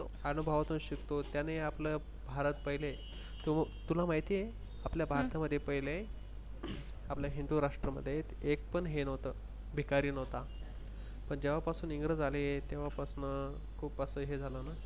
अनुभवातून शिकतो त्यान आपल भारत. पहिले तुला माहिती आहे. आपल्या भारत मध्ये पहिले आपल्या हिंदू राष्ट्रामध्ये एक पण हे नव्हतं भिकारी नव्हता. पण इंग्रज आले तेव्हा पासण खुप अस हे झाल न